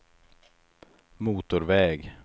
motorväg